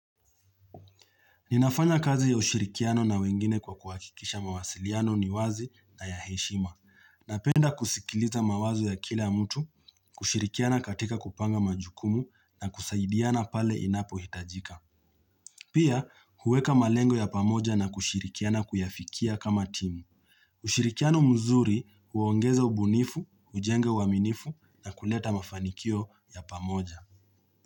Ninafanya kazi ya ushirikiano na wengine kwa kuhakikikisha mawasiliano ni wazi na ya heshima. Napenda kusikilizamawazo ya kila mtu, kushirikiana katika kupanga majukumu na kusaidiana pale inapo hitajika. Pia, huweka malengo ya pamoja na kushirikiana kuyafikia kama timu. Ushirikiano mzuri huongeza ubunifu, ujenga uaminifu na kuleta mafanikio ya pamoja.